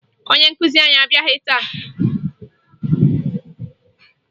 Onye nkụzi anyị abịaghị taa